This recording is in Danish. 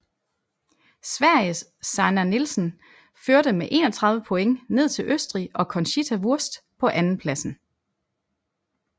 Sveriges Sanna Nielsen førte med 31 point ned til Østrig og Conchita Wurst på andenpladsen